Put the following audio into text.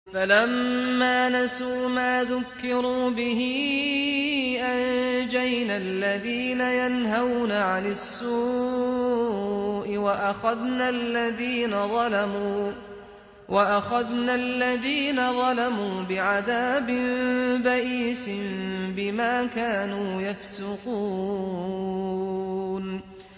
فَلَمَّا نَسُوا مَا ذُكِّرُوا بِهِ أَنجَيْنَا الَّذِينَ يَنْهَوْنَ عَنِ السُّوءِ وَأَخَذْنَا الَّذِينَ ظَلَمُوا بِعَذَابٍ بَئِيسٍ بِمَا كَانُوا يَفْسُقُونَ